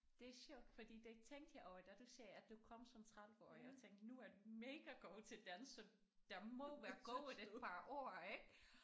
Det er sjovt fordi det tænkte jeg over da du sagde at du kom som 30 årig og tænkte nu er du mega god til dansk så der må være gået et par år ik